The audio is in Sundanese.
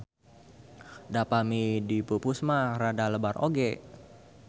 Da pami dipupus mah rada lebar oge.